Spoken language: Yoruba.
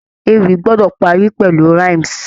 Ewì gbọ́dọ̀ parí pẹ̀lú rhymes.